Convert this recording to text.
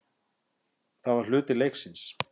Það var hluti leiksins.